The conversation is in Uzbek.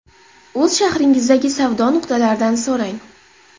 O‘z shahringizdagi savdo nuqtalaridan so‘rang.